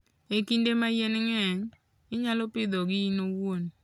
E kinde ma yien ng'eny, inyalo pidhogi in iwuon.